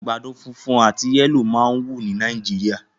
Àgbàdo funfun àti yẹlo máa ń wù ní Nàìjíríà